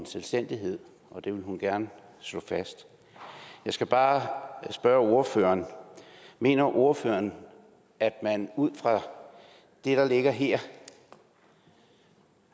selvstændighed og det ville hun gerne slå fast jeg skal bare spørge ordføreren mener ordføreren at man ud fra det der ligger her